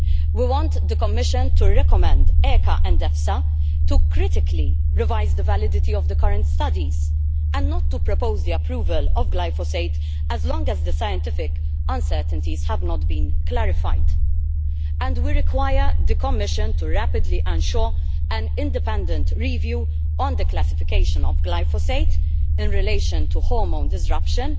We want the Commission to recommend ECHA and EFSA to critically revise the validity of the current studies, and not to propose the approval of glyphosate as long as the scientific uncertainties have not been clarified. We also require the Commission to rapidly ensure an independent review of the classification of glyphosate in relation to hormone disruption,